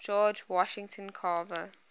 george washington carver